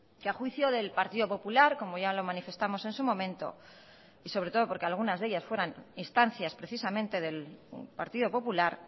que a juicio del partido popular como ya lo manifestamos en su momento y sobre todo porque algunas de ellas fueran instancias precisamente del partido popular